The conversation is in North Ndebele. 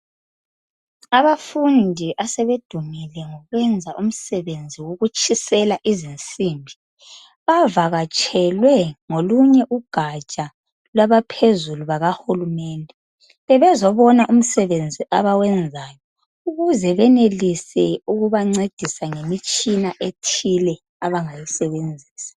Abafundi asebedumile ngokwenza umsebenzi wokutshisela izinsimbi bavakatshelwe ngolunye ugatsha lwabaphezulu bakahulumende bebezobona umsebenzi abawenzayo ukuze benelise ukubancedisa ngemitshina ethile abangayisebenzisa.